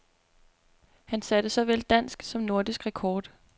Han satte såvel dansk som nordisk rekord.